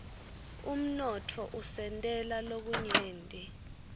umnotfo usentela lokunyenti